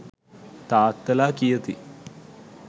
තාත්තලා කියති.